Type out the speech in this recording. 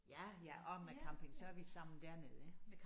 Ja ja også med camping så er vi sammen dernede ik